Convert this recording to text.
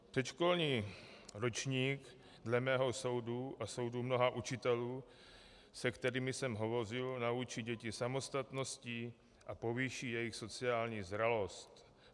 Předškolní ročník dle mého soudu a soudu mnoha učitelů, se kterými jsem hovořil, naučí děti samostatnosti a povýší jejich sociální zralost.